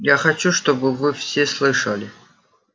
я хочу чтобы вы все слышали